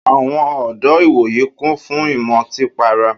Àwọn ọ̀dọ́ ìwòyí kún fún ìmọtí para.